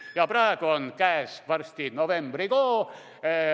Varsti on käes novembrikuu.